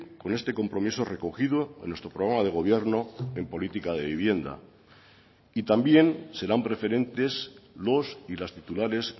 con este compromiso recogido en nuestro programa de gobierno en política de vivienda y también serán preferentes los y las titulares